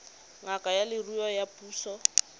ngaka ya leruo ya puso